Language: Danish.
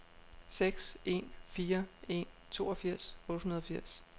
seks en fire en toogfirs otte hundrede og firs